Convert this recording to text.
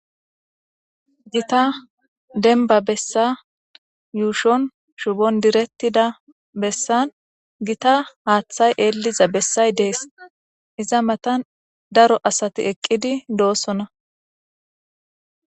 Gita denba bessa yuushon shubon diretida besan gita haathay elliza besay dees, iza matan daro asati eqqidi doosona.